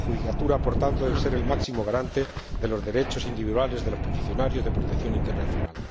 La judicatura, por tanto, debe ser el máximo garante de los derechos individuales de los peticionarios de protección internacional